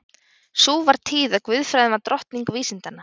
Sú var tíð að guðfræðin var drottning vísindanna.